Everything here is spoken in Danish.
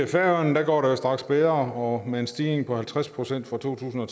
færøerne går det jo straks bedre og med en stigning på halvtreds procent fra to tusind og